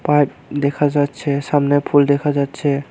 Pipe দেখা যাচ্ছে সামনে ফুল দেখা যাচ্ছে।